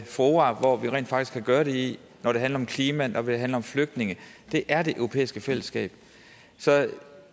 fora hvor vi rent faktisk kan gøre det i når det handler om klima når det handler om flygtninge er det europæiske fællesskab så